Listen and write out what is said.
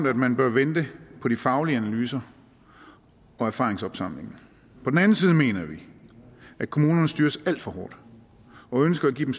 at man bør vente på de faglige analyser og erfaringsopsamlingen på den anden side mener vi at kommunerne styres alt for hårdt og ønsker at give dem